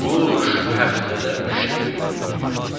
quş həftədə üç dəfə yumurtlayır.